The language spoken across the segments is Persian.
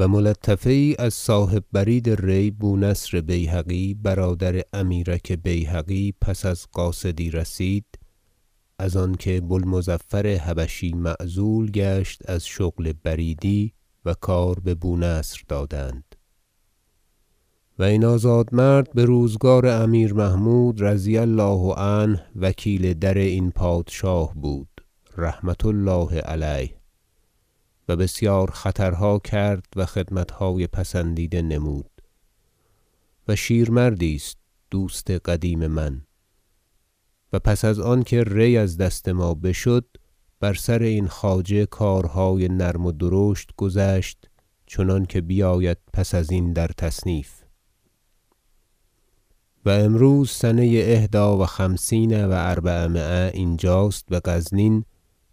و ملطفه یی از صاحب برید ری بونصر بیهقی برادر امیرک بیهقی پس از قاصدی رسید- از آنکه بوالمظفر حبشی معزول گشت از شغل بریدی و کار ببونصر دادند و این آزادمرد بروزگار امیر محمود رضی الله عنه وکیل در این پادشاه بود رحمة- الله علیه و بسیار خطرها کرد و خدمتهای پسندیده نمود و شیرمردی است دوست قدیم من و پس از آنکه ری از دست ما بشد بر سر این خواجه کارهای نرم و درشت گذشت چنانکه بیاید پس ازین در تصنیف و امروز سنه احدی و خمسین و اربعمایه اینجاست بغزنین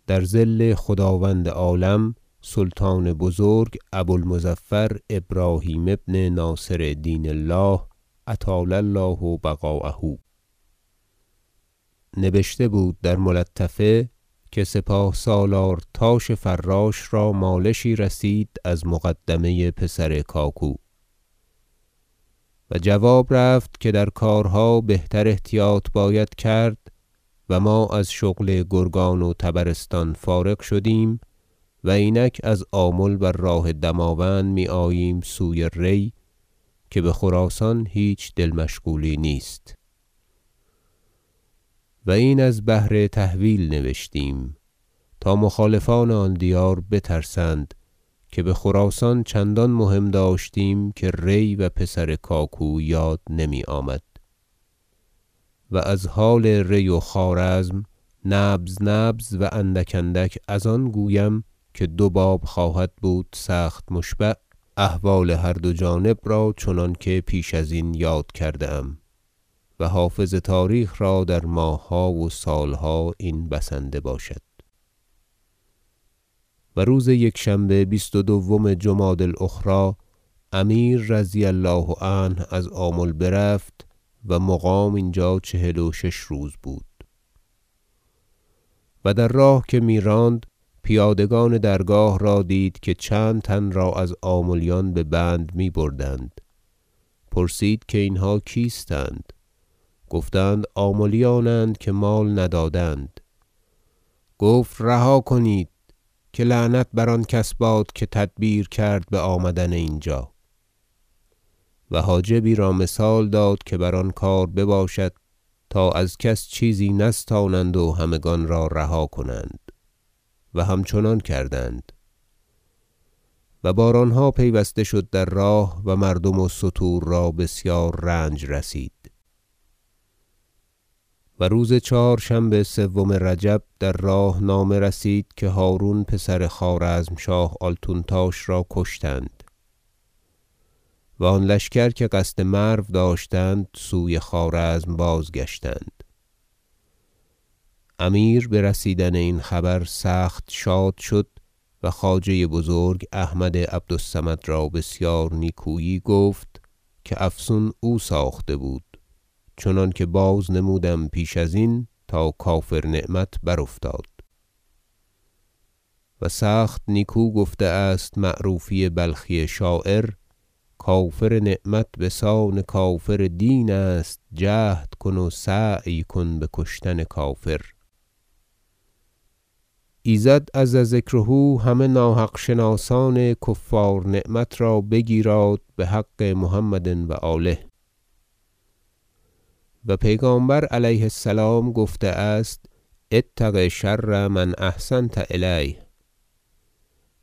در ظل خداوند عالم سلطان بزرگ ابو المظفر ابراهیم ابن ناصر دین الله اطال الله بقاءه - نبشته بود در ملطفه که سپاه سالار تاش فراش را مالشی رسید از مقدمه پسر کاکو و جواب رفت که در کارها بهتر احتیاط باید کرد و ما از شغل گرگان و طبرستان فارغ شدیم و اینک از آمل بر راه دماوند میآییم سوی ری که بخراسان هیچ دل مشغولی نیست و این از بهر تهویل نبشتیم تا مخالفان آن دیار بترسند که بخراسان چندان مهم داشتیم که ری و پسر کاکو یاد نمیآمد و از حال ری و خوارزم نبذنبذ و اندک اندک از آن گویم که دو باب خواهد بود سخت مشبع احوال هر دو جانب را چنانکه پیش ازین یاد کرده ام و حافظ تاریخ را در ماهها و سالها این بسنده باشد و روز یکشنبه بیست و دوم جمادی الاخری امیر رضی الله عنه از آمل برفت و مقام اینجا چهل و شش روز بود و در راه که میراند پیادگان درگاه را دید که چند تن را از آملیان ببند میبردند پرسید که اینها کیستند گفتند آملیانند که مال ندادند گفت رها کنید که لعنت بر آن کس باد که تدبیر کرد بآمدن اینجا و حاجبی را مثال داد که بر آن کار بباشد تا از کس چیزی نستانند و همگان را رها کنند و همچنان کردند و بارانها پیوسته شد در راه و مردم و ستور را بسیار رنج رسید و روز چهارشنبه سوم رجب در راه نامه رسید که هرون پسر خوارزمشاه آلتونتاش را کشتند و آن لشکر که قصد مرو داشتند سوی خوارزم بازگشتند امیر برسیدن این خبر سخت شاد شد و خواجه بزرگ احمد عبد الصمد را بسیار نیکویی گفت که افسون او ساخته بود چنانکه بازنموده ام پیش ازین تا کافر نعمت برافتاد و سخت نیکو گفته است معروفی بلخی شاعر شعر کافر نعمت بسان کافر دین است جهد کن و سعی کن بکشتن کافر ایزد عز ذکره همه ناحق شناسان کفار نعمت را بگیراد بحق محمد و آله و پیغامبر علیه السلام گفته است اتق شر من احسنت الیه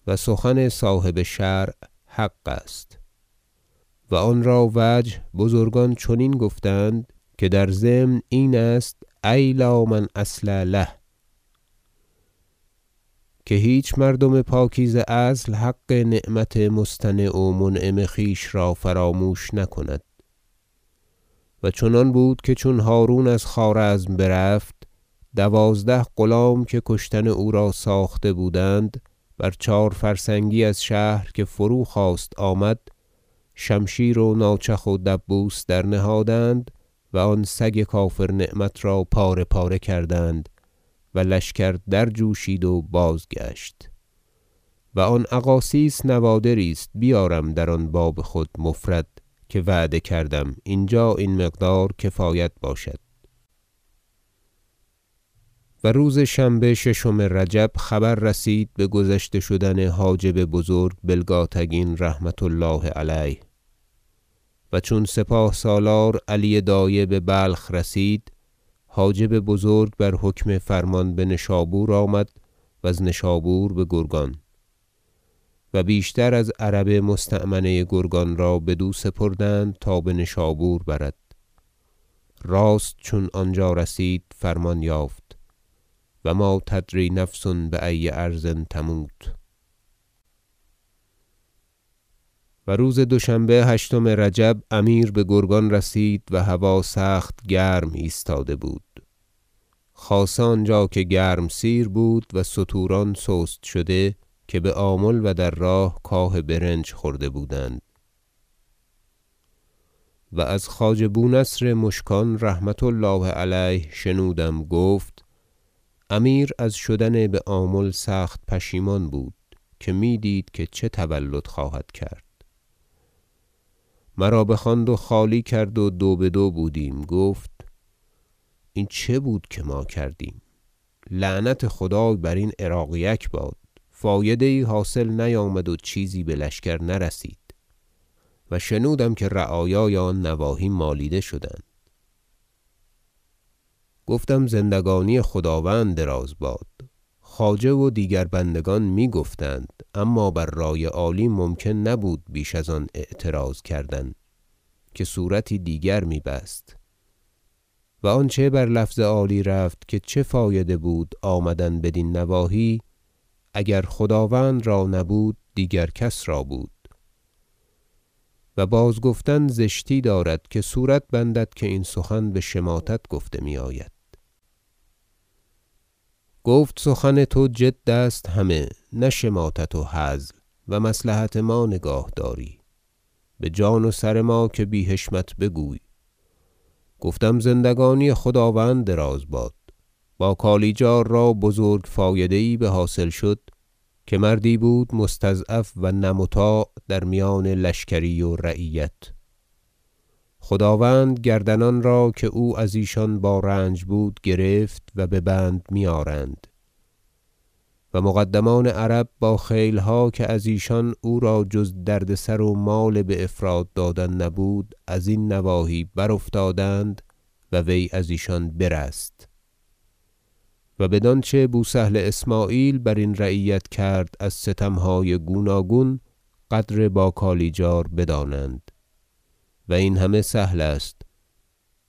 و سخن صاحب شرع حق است و آنرا وجه بزرگان چنین گفتند که در ضمن این است ای من لا اصل له که هیچ مردم پاکیزه اصل حق نعمت مصطنع و منعم خویش را فراموش نکند و چنان بود که چون هرون از خوارزم برفت دوازده غلام که کشتن او را ساخته بودند بر چهار فرسنگی از شهر که فروخواست آمد شمشیر و ناچخ و دبوس درنهادند و آن سگ کافر نعمت را پاره پاره کردند و لشکر درجوشید و بازگشت و آن اقاصیص نوادری است بیارم در آن باب خود مفرد که وعده کردم اینجا این مقدار کفایت باشد و روز شنبه ششم رجب خبر رسید بگذشته شدن حاجب بزرگ بلگاتگین رحمة الله علیه و چون سپاه سالار علی دایه ببلخ رسید حاجب بزرگ بر حکم فرمان بنشابور آمد وز نشابور بگرگان و بیشتر از عرب مستأمنه گرگان را بدو سپردند تا بنشابور برد راست چون آنجا رسید فرمان یافت و ما تدری نفس بای ارض تموت و روز دوشنبه هشتم رجب امیر بگرگان رسید و هوا سخت گرم ایستاده بود خاصه آنجا که گرمسیر بود و ستوران سست شده که بآمل و در راه کاه برنج خورده بودند از خواجه بونصر مشکان رحمة الله علیه شنودم گفت امیر از شدن بآمل سخت پشیمان بود که میدید که چه تولد خواهد کرد مرا بخواند و خالی کرد و دو بدو بودیم گفت این چه بود که ما کردیم لعنت خدای برین عراقیک باد فایده یی حاصل نیامد و چیزی بلشکر نرسید و شنودم که رعایای آن نواحی مالیده شدند گفتم زندگانی خداوند دراز باد خواجه و دیگر بندگان میگفتند اما بر رای عالی ممکن نبود بیش از آن اعتراض کردن که صورتی دیگر می بست و آنچه بر لفظ عالی رفت که چه فایده بود آمدن بدین نواحی اگر خداوند را نبود دیگر کس را بود و بازگفتن زشتی دارد که صورت بندد که این سخن بشماتت گفته میآید گفت سخت توجد است همه نه شماتت و هزل و مصلحت ما نگاه داری بجان و سر ما که بی حشمت بگویی گفتم زندگانی خداوند دراز باد با کالیجار را بزرگ فایده یی بحاصل شد که مردی بود مستضعف و نه مطاع در میان لشکری و رعیت خداوند گردنان را که او از ایشان با رنج بود گرفت و ببند میآرند و مقدمان عرب با خیلها که از ایشان او را جز دردسر و مال بافراط دادن نبود ازین نواحی برافتادند و وی از ایشان برست و بدانچه بوسهل اسمعیل برین رعیت کرد از ستمهای گوناگون قدر با کالیجار بدانند و این همه سهل است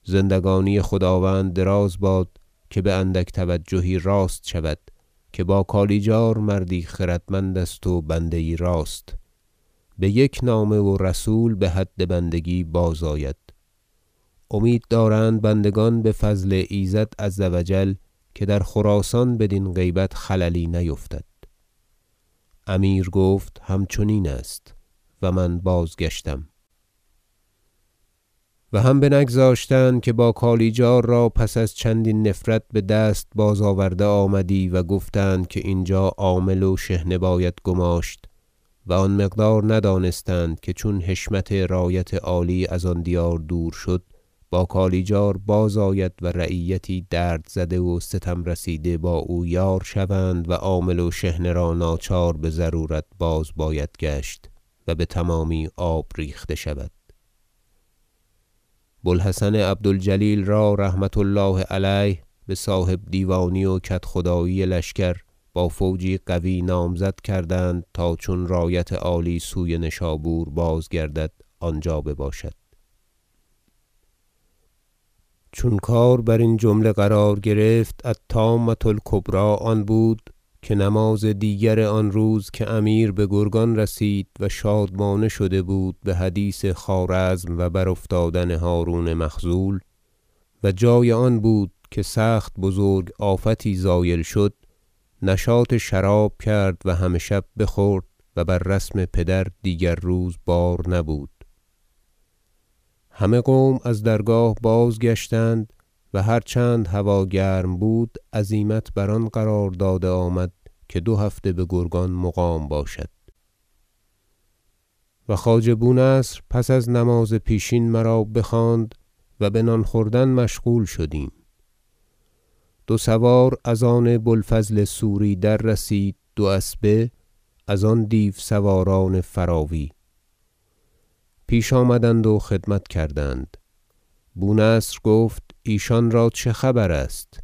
زندگانی خداوند دراز باد که باندک توجهی راست شود که با کالیجار مردی خردمند است و بنده یی راست بیک نامه و رسول بحد بندگی بازآید امید دارند بندگان بفضل ایزد عز و جل که در خراسان بدین غیبت خللی نیفتد امیر گفت همچنین است و من بازگشتم و هم بنگذاشتند که با کالیجار را پس از چندین نفرت بدست بازآورده آمدی و گفتند که اینجا عامل و شحنه باید گماشت و آن مقدار ندانستند که چون حشمت رایت عالی از آن دیار دور شد با کالیجار بازآید و رعیتی درد زده و ستم رسیده با او یار شوند و عامل و شحنه را ناچار بضرورت باز باید گشت و بتمامی آب ریخته شود بوالحسن عبد الجلیل را رحمة الله علیه بصاحب دیوانی و کدخدایی لشکر با فوجی قوی لشکر نامزد کردند تا چون رایت عالی سوی نشابور بازگردد آنجا بباشد چون کار برین جمله قرار گرفت الطامة الکبری آن بود که نماز دیگر آن روز که امیر بگرگان رسید و شادمانه شده بود بحدیث خوارزم و برافتادن هرون مخذول و جای آن بود که سخت بزرگ آفتی زایل شد نشاط شراب کرد و همه شب بخورد و بر رسم پدر دیگر روز بار نبود همه قوم از درگاه بازگشتند و هر چند هوا گرم بود عزیمت بر آن قرار داده آمد که دو هفته بگرگان مقام باشد و خواجه بونصر پس از نماز پیشین مرا بخواند و بنان خوردن مشغول شدیم دو سوار از آن بوالفضل سوری در رسید دو اسبه از آن دیو سواران فراوی پیش آمدند و خدمت کردند بونصر گفت ایشان را چه خبر است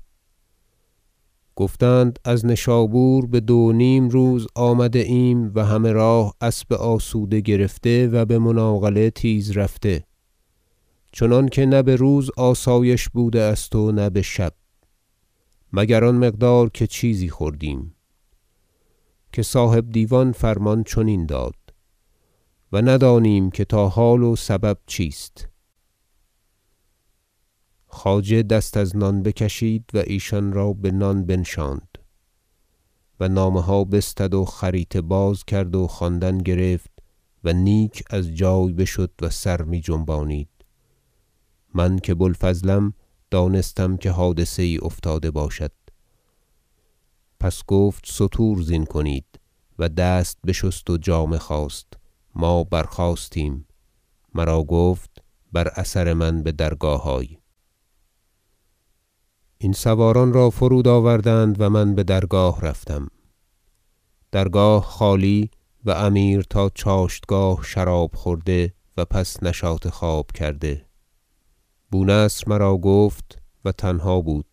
گفتند از نشابور بدو و نیم روز آمده ایم و همه راه اسب آسوده گرفته و بمناقله تیز رفته چنانکه نه بروز آسایش بوده است و نه بشب مگر آن مقدار که چیزی خوردیم که صاحب دیوان فرمان چنین داد و ندانیم که تا حال و سبب چیست خواجه دست از نان بکشید و ایشان را بنان بنشاند و نامه ها بستد و خریطه بازکرد و خواندن گرفت و نیک از جای بشد و سر می جنبانید من که بوالفضلم دانستم که حادثه یی افتاده باشد پس گفت ستور زین کنید و دست بشست و جامه خواست ما برخاستیم مرا گفت بر اثر من بدرگاه آی این سواران را فرود آوردند و من بدرگاه رفتم درگاه خالی و امیر تا چاشتگاه شراب خورده و پس نشاط خواب کرده بونصر مرا گفت و تنها بود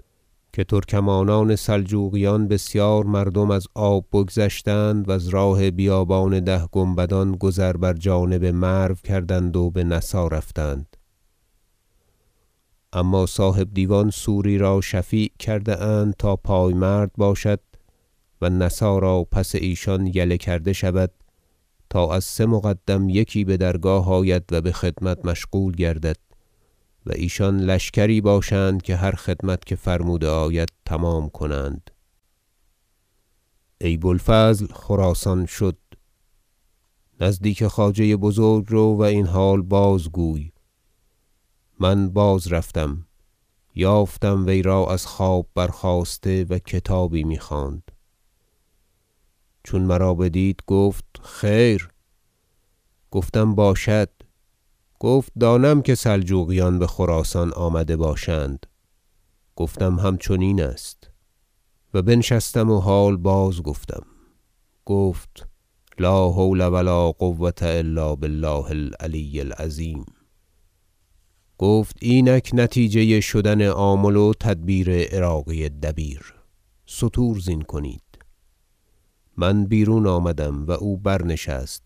که ترکمانان سلجوقیان بسیار مردم از آب بگذشتند وز راه بیابان ده گنبدان گذر بر جانب مرو کردند و به نسا رفتند اما صاحب دیوان سوری را شفیع کرده اند تا پایمرد باشد و نسا را پس ایشان یله کرده شود تا از سه مقدم یکی بدرگاه عالی آید و بخدمت مشغول گردد و ایشان لشکری باشند که هر خدمت که فرموده آید تمام کنند ای بوالفضل خراسان شد نزدیک خواجه بزرگ رو و این حال بازگوی من بازرفتم یافتم وی را از خواب برخاسته و کتابی میخواند چون مرا بدید گفت خیر گفتم باشد گفت دانم که سلجوقیان بخراسان آمده باشند گفتم همچنین است و بنشستم و حال باز گفتم گفت لا حول و لا قوة الا بالله العلی العظیم گفت اینک نتیجه شدن آمل و تدبیر عراقی دبیر ستور زین کنید من بیرون آمدم و او برنشست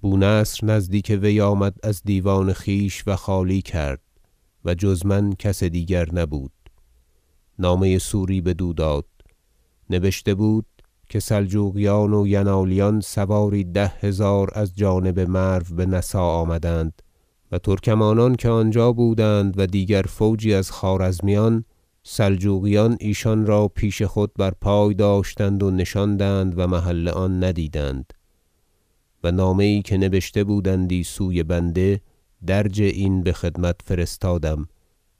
بونصر نزدیک وی آمد از دیوان خویش و خالی کرد و جز من کس دیگر نبود نامه سوری بدو داد نبشته بود که سلجوقیان و ینالیان سواری ده هزار از جانب مرو بنسا آمدند و ترکمانان که آنجا بودند و دیگر فوجی از خوارزمیان سلجوقیان ایشان را پیش خود بر پای داشتند و ننشاندند و محل آن ندیدند و نامه یی که نبشته بودندی سوی بنده درج این بخدمت فرستادم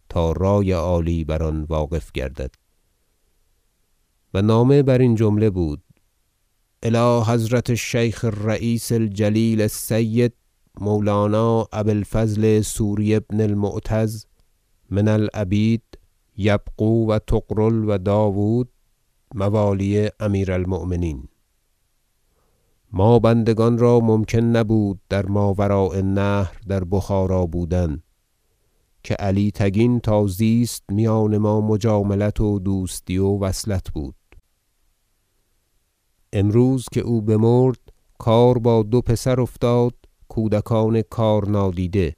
تا رای عالی بر آن واقف گردد نامه ترکمانان بسوری و نامه برین جمله بود الی حضرة الشیخ الرییس الجلیل السید مولانا ابی الفضل سوری بن المعتز من العبید یبغو و طغرل و داود موالی امیر المؤمنین ما بندگان را ممکن نبود در ماوراء النهر در بخارا بودن که علی تگین تازیست میان ما مجاملت و دوستی و وصلت بود امروز که او بمرد کار با دو پسر افتاد کودکان کار نادیده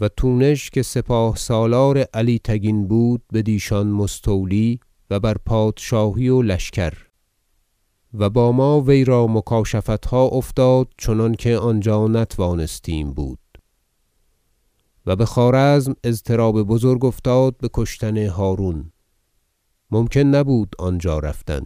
و تونش که سپاه سالار علی تگین بود بدیشان مستولی و بر پادشاهی و لشکر و با ما وی را مکاشفتها افتاد چنانکه آنجا نتوانستیم بود و بخوارزم اضطراب بزرگ افتاد بکشتن هرون ممکن نبود آنجا رفتن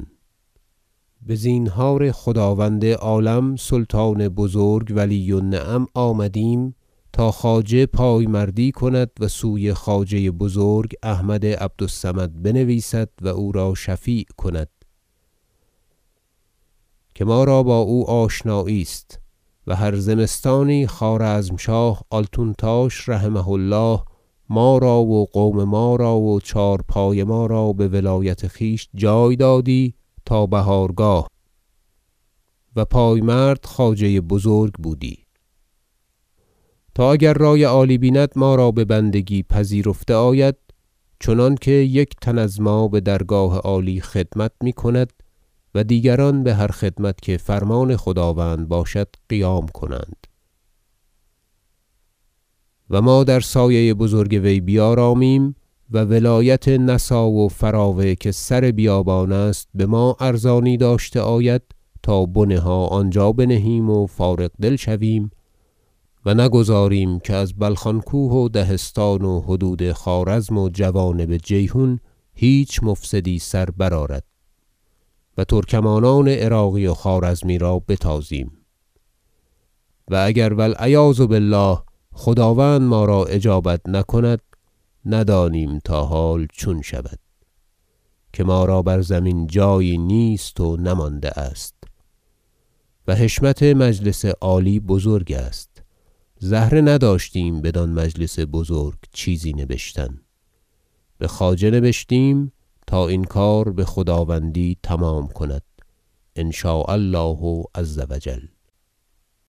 بزینهار خداوند عالم سلطان بزرگ ولی النعم آمدیم تا خواجه پایمردی کند و سوی خواجه بزرگ احمد عبد الصمد بنویسد و او را شفیع کند که ما را با او آشنایی است و هر زمستانی خوارزمشاه آلتونتاش رحمه الله ما را و قوم ما را و چهار پای ما را بولایت خویش جای دادی تا بهارگاه و پایمرد خواجه بزرگ بودی تا اگر رای عالی بیند ما را ببندگی پذیرفته آید چنانکه یک تن از ما بدرگاه عالی خدمت میکند و دیگران بهر خدمت که فرمان خداوند باشد قیام کنند و ما در سایه بزرگ وی بیارامیم و ولایت نسا و فراوه که سر بیابان است بما ارزانی داشته آید تا بنه ها آنجا بنهیم و فارغ دل شویم و نگذاریم که از بلخان کوه و دهستان و حدود خوارزم و جوانب جیحون هیچ مفسدی سر برآرد و ترکمانان عراقی و خوارزمی را بتازیم و اگر العیاذ بالله خداوند ما را اجابت نکند ندانیم تا حال چون شود که ما را بر زمین جایی نیست و نمانده است و حشمت مجلس عالی بزرگ است زهره نداشتیم بدان مجلس بزرگ چیزی نبشتن بخواجه نبشتیم تا این کار بخداوندی تمام کند ان شاء الله عز و جل